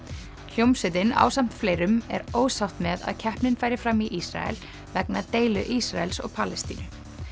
hljómsveitin ásamt fleirum er ósátt með að keppnin færi fram í Ísrael vegna deilu Ísraels og Palestínu